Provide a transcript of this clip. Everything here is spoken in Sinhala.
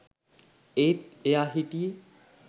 ඒත් එයා හිටියෙ